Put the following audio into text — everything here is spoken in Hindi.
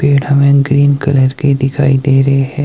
पेड़ हमें ग्रीन कलर के दिखाई दे रहे है।